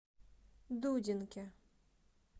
дудинке